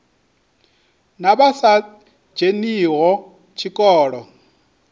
na vha sa dzheniho tshikolo